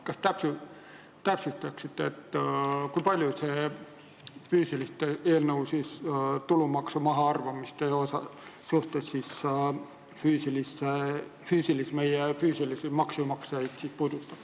Kas te täpsustaksite, kui palju see eelnõu tulumaksu mahaarvamiste suhtes puudutab füüsilistest isikutest maksumaksjaid?